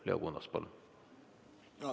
Leo Kunnas, palun!